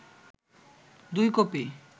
দুই কপি